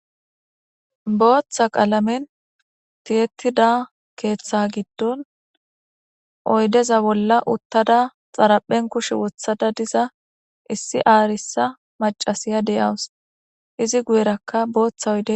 booththa qaalamen tiyettida keeththa giddon oydeza bolla uttada xaraphen kushe wothada diza issi aarissa macasiya deyawus izi guyerakka booththa oyde